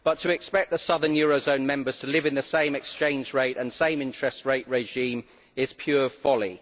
but to expect the southern eurozone members to live in the same exchange rate and same interest rate regime is pure folly.